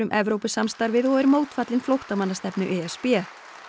Evrópusamstarfið og er mótfallinn e s b